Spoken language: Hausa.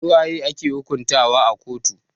Su waye ake hukuntawa a kotu?